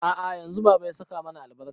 A'a yanzu baba ya saka mana albarka